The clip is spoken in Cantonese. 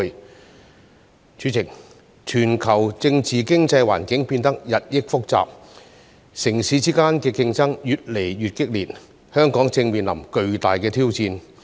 代理主席，全球政治經濟環境變得日益複雜，城市之間的競爭越來越激烈，香港正面臨巨大挑戰。